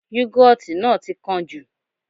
Yúgọ́ọ̀tì náà ti kán jù